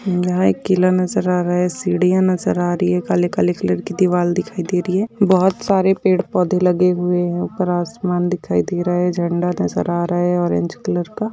यहा एक किला नज़र आ रहा है सिडिया नज़र आ रही है काले-काले कलर की दिवार दिखाई दे रही है बहुत सारे पेड़ पौधे लगे हुए है उपर आसमान दिखाई दे रहा है झेंडा नज़र आ रहा है ऑरेंज कलर का --